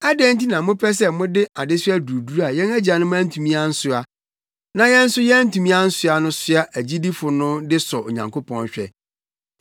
Adɛn nti na mopɛ sɛ mode adesoa duruduru a yɛn agyanom antumi ansoa, na yɛn nso yɛantumi ansoa no soa agyidifo no de sɔ Onyankopɔn hwɛ?